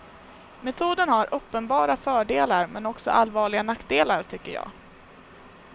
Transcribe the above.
Metoden har uppenbara fördelar men också allvarliga nackdelar, tycker jag.